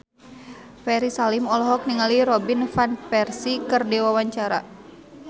Ferry Salim olohok ningali Robin Van Persie keur diwawancara